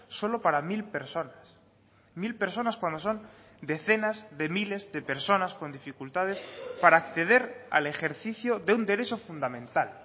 solo para mil personas mil personas cuando son decenas de miles de personas con dificultades para acceder al ejercicio de un derecho fundamental